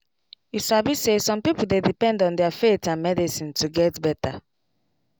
you sabi say some people dey depend on their faith and medicine to get better